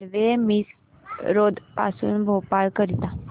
railway Misrod पासून भोपाळ करीता